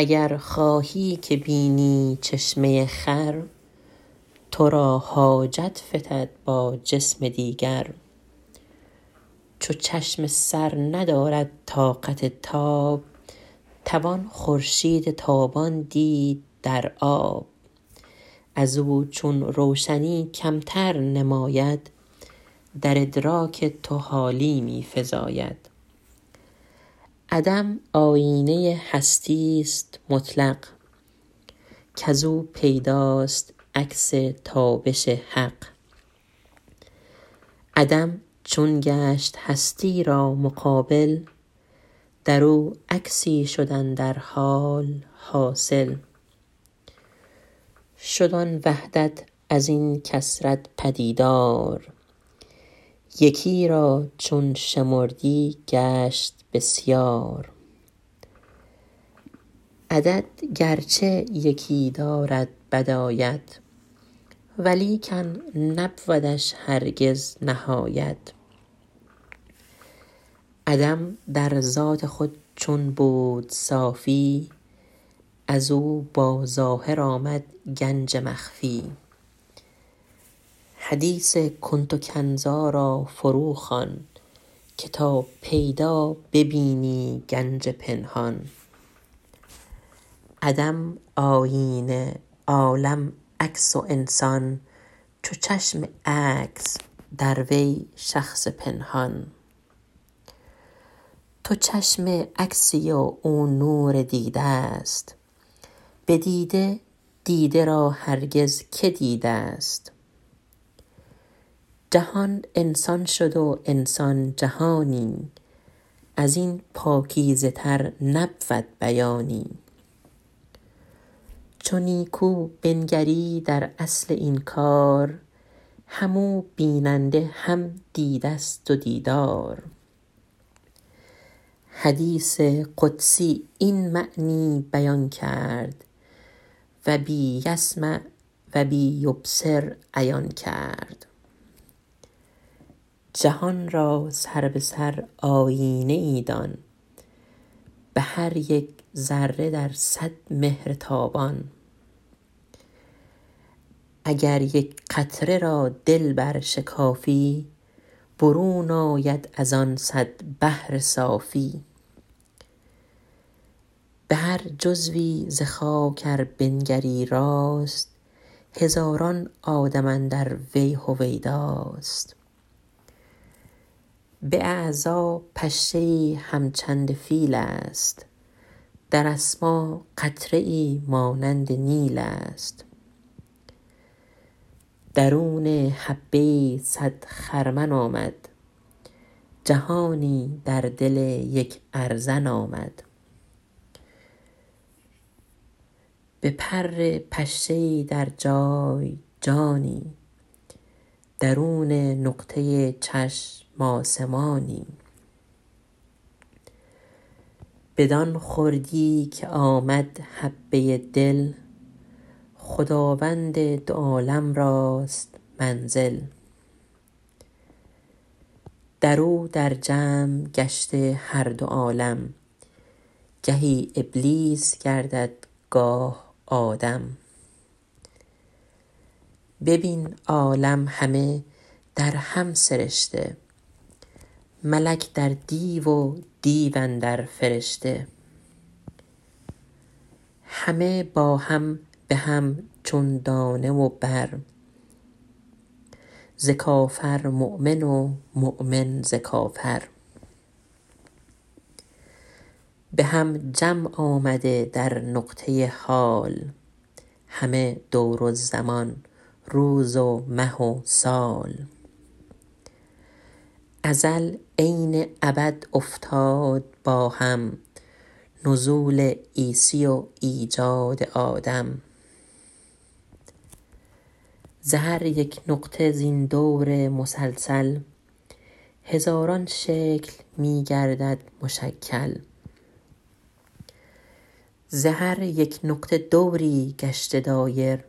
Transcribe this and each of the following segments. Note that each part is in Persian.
اگر خواهی که بینی چشمه خور تو را حاجت فتد با جرم دیگر چو چشم سر ندارد طاقت تاب توان خورشید تابان دید در آب از او چون روشنی کمتر نماید در ادراک تو حالی می فزاید عدم آیینه هستی است مطلق کز او پیداست عکس تابش حق عدم چون گشت هستی را مقابل در او عکسی شد اندر حال حاصل شد آن وحدت از این کثرت پدیدار یکی را چون شمردی گشت بسیار عدد گرچه یکی دارد بدایت ولیکن نبودش هرگز نهایت عدم در ذات خود چون بود صافی از او با ظاهر آمد گنج مخفی حدیث کنت کنزا را فرو خوان که تا پیدا ببینی سر پنهان عدم آیینه عالم عکس و انسان چو چشم عکس در وی شخص پنهان تو چشم عکسی و او نور دیده است به دیده دیده را هرگز که دیده است جهان انسان شد و انسان جهانی از این پاکیزه تر نبود بیانی چو نیکو بنگری در اصل این کار هم او بیننده هم دیده است و دیدار حدیث قدسی این معنی بیان کرد و بی یسمع و بی یبصر عیان کرد جهان را سر به سر آیینه ای دان به هر یک ذره در صد مهر تابان اگر یک قطره را دل بر شکافی برون آید از آن صد بحر صافی به هر جزوی ز خاک ار بنگری راست هزاران آدم اندر وی هویداست به اعضا پشه ای هم چند فیل است در اسما قطره ای مانند نیل است دل هر حبه ای صد خرمن آمد جهانی در دل یک ارزن آمد به پر پشه ای در جای جانی درون نقطه چشم آسمانی بدان خردی که آمد حبه دل خداوند دو عالم راست منزل در او در جمع گشته هر دو عالم گهی ابلیس گردد گاه آدم ببین عالم همه در هم سرشته ملک در دیو و دیو اندر فرشته همه با هم به هم چون دانه و بر ز کافر مؤمن و مؤمن ز کافر به هم جمع آمده در نقطه حال همه دور زمان روز و مه و سال ازل عین ابد افتاد با هم نزول عیسی و ایجاد آدم ز هر یک نقطه زین دور مسلسل هزاران شکل می گردد مشکل ز هر یک نقطه دوری گشته دایر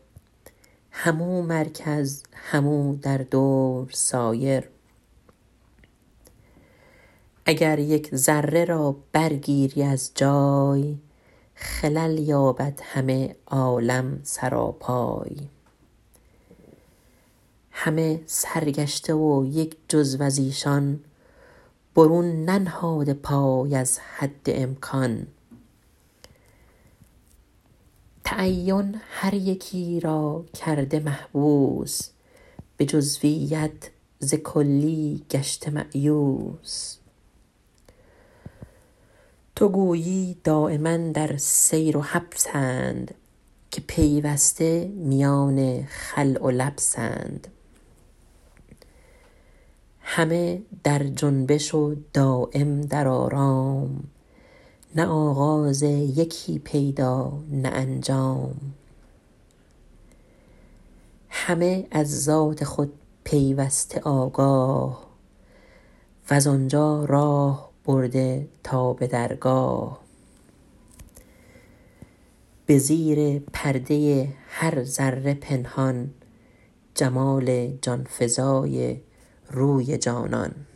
هم او مرکز هم او در دور سایر اگر یک ذره را برگیری از جای خلل یابد همه عالم سراپای همه سرگشته و یک جزو از ایشان برون ننهاده پای از حد امکان تعین هر یکی را کرده محبوس به جزویت ز کلی گشته مایوس تو گویی دایما در سیر و حبسند که پیوسته میان خلع و لبسند همه در جنبش و دایم در آرام نه آغاز یکی پیدا نه انجام همه از ذات خود پیوسته آگاه وز آنجا راه برده تا به درگاه به زیر پرده هر ذره پنهان جمال جانفزای روی جانان